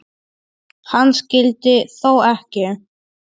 Hann skyldi þó ekki.